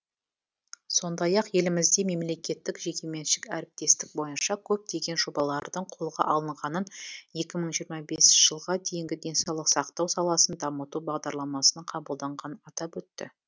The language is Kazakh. сондай ақ елімізде мемлекеттік жекеменшік әріптестік бойынша көптеген жобалардың қолға алынғанын екі мың жиырма бесінші жылға дейінгі денсаулық сақтау саласын дамыту бағдарламасының қабылданғанын атап өтті